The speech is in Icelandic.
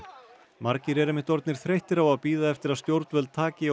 margir eru einmitt orðnir þreyttir á að bíða eftir að stjórnvöld taki á